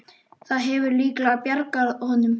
Það hefur líklega bjargað honum.